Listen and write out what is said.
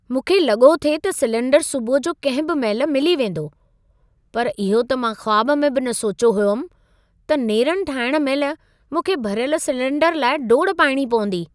मूंखे लॻो थिए त सिलेंडरु सुबुह जो कंहिं बि महिल मिली वेंदो। पर इहो त मां ख़्वाब में बि न सोचियो हुअमि त नेरन ठाहिण महिल मूंखे भरियल सिलेंडर लाइ डोड़ पाइणी पवंदी।